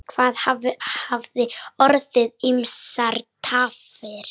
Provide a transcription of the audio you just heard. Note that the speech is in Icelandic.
Það hafa orðið ýmsar tafir.